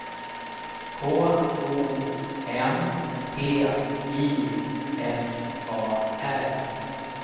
K O M P I S A R